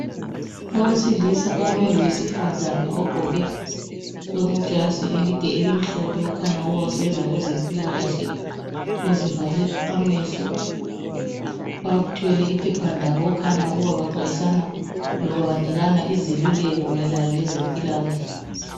Owesilisa ome lowesifazana ogqoke ijazi elide elimhlophe okhanya ukuba usebenza kwezempilakahle, uvale amehlo bathwele iphepha labo okukhanya ukubana bexwayisana loba banikana izeluleko mayelana lezempilakahle.